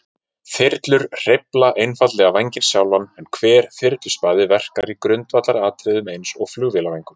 Þyrlur hreyfa einfaldlega vænginn sjálfan, en hver þyrluspaði verkar í grundvallaratriðum eins og flugvélarvængur.